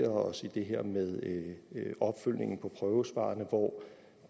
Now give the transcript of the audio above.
os i det her med opfølgningen på prøvesvarene hvor